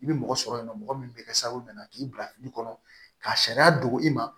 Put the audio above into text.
I bɛ mɔgɔ sɔrɔ yen nɔ mɔgɔ min bɛ kɛ sababu nana k'i bila fili kɔnɔ ka sariya dogo i ma